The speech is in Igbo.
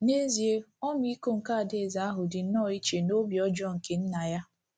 N’ezie, ọmịiko nke adaeze ahụ dị nnọọ iche n’obi ọjọọ nke nna ya.